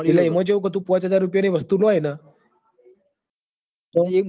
eel ઈમો ચેવુક તો પોચ હાજર રૂપિયો ની વસ્તું લોય ન તો